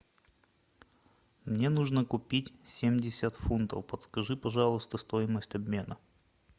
мне нужно купить семьдесят фунтов подскажи пожалуйста стоимость обмена